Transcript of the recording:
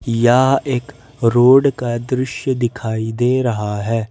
या एक रोड का दृश्य दिखाई दे रहा है।